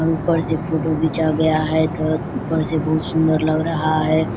और ऊपर से फोटो घिचा गया है तो ऊपर से बहुत सुन्दर लग रहा है।